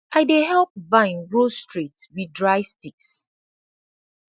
i dey help vine grow straight wit dry sticks